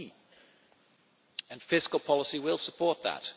That is key, and fiscal policy will support that.